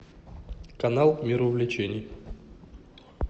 канал мир увлечений